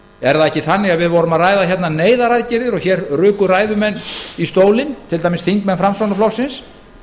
er það ekki þannig að við vorum að ræða neyðaraðgerðir og hér ruku ræðumenn í stólinn til dæmis þingmenn framsóknarflokksins